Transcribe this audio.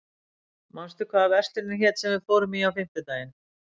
Vera, manstu hvað verslunin hét sem við fórum í á fimmtudaginn?